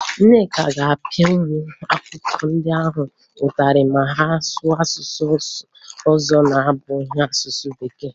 Nneka ga-apịa ụmụ akwụkwọ ndị ahụ ụtarị ma ha sụọ asụsụ ọzọ na-abụghị asụsụ Bekee